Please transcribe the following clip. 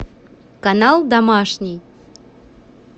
канал домашний